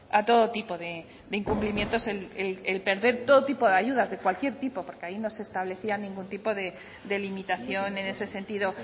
a todo tipo de incumplimientos el perder todo tipo de ayudas de cualquier tipo porque ahí no se establecía ningún tipo de limitación en ese sentido